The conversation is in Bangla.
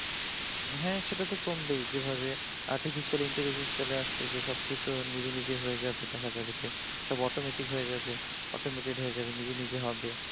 হ্যাঁ সে তো কমবে যেভাবে আর্টিফিশিয়াল ইন্টেলিজেন্স চলে আসছে যে সবকিছু নিজে নিজেই হয়ে যাবে দেখা যাবে যে সব অটোমেটিক হয়ে যাবে অটোমেটেড হয়ে যাবে যে নিজে নিজে হবে।